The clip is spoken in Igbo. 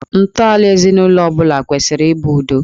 Ntọala ezinụlọ ọ bụla kwesịrị ị bụ udo